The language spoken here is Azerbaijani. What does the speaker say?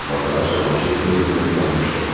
Amma daha Cavanşir öz-özünə inanmışdı.